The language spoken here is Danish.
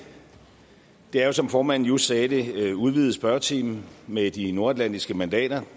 det er jo som formanden just sagde det en udvidet spørgetime med de nordatlantiske mandater